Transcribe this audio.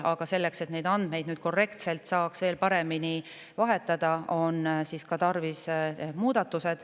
Aga selleks, et neid andmeid saaks nüüd korrektselt ja veel paremini vahetada, on tarvis muudatusi.